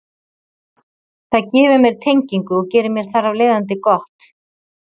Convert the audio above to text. Það gefur mér tengingu og gerir mér þar af leiðandi gott.